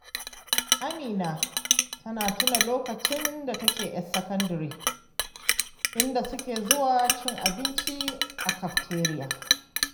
Amina ta tuna lokacin da take 'yar sakandire, inda suke zuwa cin abinci a kafteriya